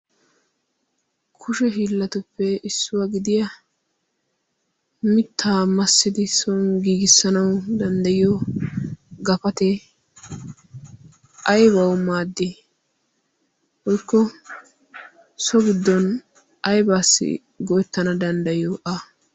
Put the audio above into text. Kushe hiilatuppe issuwaa gidiya mitta maassidi soon giigisanaw danddayiyo gapate aybbaw maadi woykko so giddon aybbaw go'etana danddayiyo a?